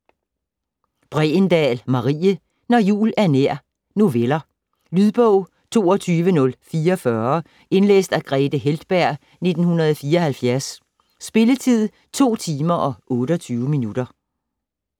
Bregendahl, Marie: Når jul er nær Noveller. Lydbog 22044 Indlæst af Grethe Heltberg, 1974. Spilletid: 2 timer, 28 minutter.